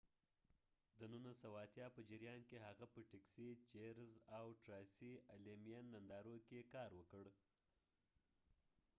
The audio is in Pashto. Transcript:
د ۱۹۸۰ په جریان کې هغه په ټیکسي، چیرز، او ټراسي الیمین نندارو کې کار وکړ۔